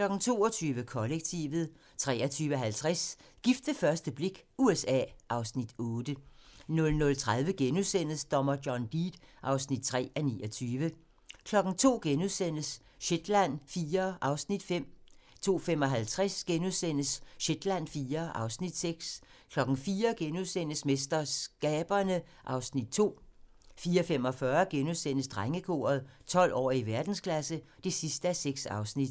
22:00: Kollektivet 23:50: Gift ved første blik - USA (Afs. 8) 00:30: Dommer John Deed (3:29)* 02:00: Shetland IV (Afs. 5)* 02:55: Shetland IV (Afs. 6)* 04:00: MesterSkaberne (Afs. 2)* 04:45: Drengekoret - 12 år og i verdensklasse (6:6)*